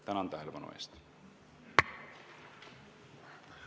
Tänan tähelepanu eest!